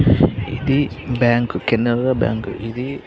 ఇది bank . Canara bank . ఇది